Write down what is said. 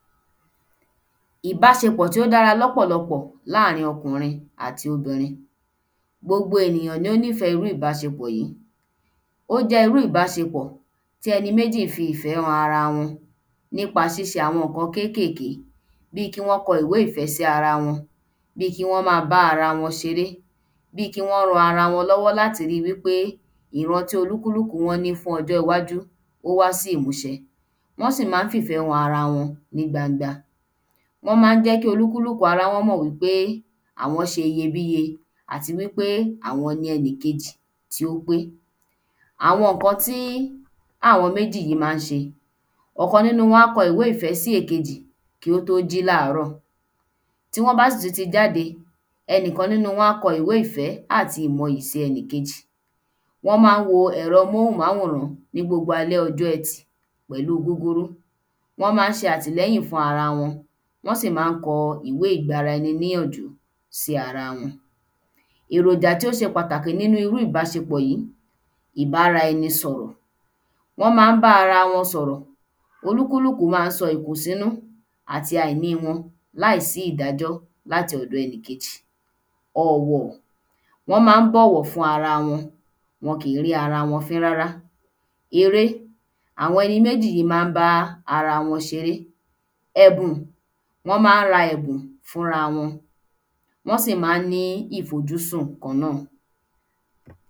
Ìbáṣepọ̀ tí ó dára lọ́pọ̀lọpọ láàrin okùnrin àti obìnrin gbogbo ènìyàn ni ó nifẹ́ irú ìbásepọ̀ yìí ó jẹ irú ìbásepọ̀ tí ẹni mejì fi ìfẹ́ han ara wọn nípa ṣíṣe àwọn ǹkan kékèké bí kí wón kọ ìwé ìfẹ́ sí ara wọn bí kí wón ma bá ara won ṣeré bí kí wón ran ara wọn lọ́wọ́ láti ri pé ìran tí olúkúlúkù wọ́n ní fún ọjọ́ iwájú ó wá sí ìmúṣẹ wọ́n sì má ń fìfẹ́ han ara wọn ní gbangba wọ́n má ń jẹ́ kí olúkúlúkù ara wọn mò wí pé àwọn ṣe iyebíye àti wí pé àwọn ni ẹni kejì tí ó ń gbé àwọn ǹkan tí àwọn méjì yìí má ń ṣe ọ̀kan nínú wọ́n á kọ ìwé ìfẹ́ sí èkejì kí ó tó láàárọ̀ bí wọ́n bá sì tú ti jáde ẹni kan nínú wọn a kọ ìwé ìfẹ́ átì mọ ìmọ iyì sí ẹni kejì wọ́n má ń wo ẹ̀rọ amóhùn-máwòrán ní gbogbo ọjọ́ etì pẹ̀lúu gúgúrú wọ́n má ń ṣe àtìlẹ́yìn fún ara wọn wọ́n sì má ń kọ ìwé ìgbara ẹni níyànjú sí ara wọn èròjà tí ó ṣe pàtàkì nínu iru ìbásepọ̀ yìí ìbára ẹni sọ̀rọ̀ wọ́n má ń bá ara wọn sọ̀rọ̀ olúkúlúkù má ń sọ ìkùn sínú àti àìní wọn láìsí ìdájọ́ láti ọ̀dọ ẹnì kejì ọ̀wọ̀ wọ́n má ń bọ̀wọ̀ fún ara wọn wọn kì ń rí ara wọn fí rárá eré àwọn ẹni méjì má ń bá ara wọn ṣeré ẹ̀bùn wọ́n má ń ẹ̀bùn fúnra wọn wọn sì á ń ní ìfojúsùn kán náà